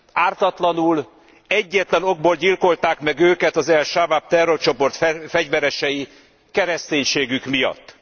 Ártatlanul, egyetlen okból gyilkolták meg őket az el Sabáb terrorcsoport fegyveresei kereszténységük miatt.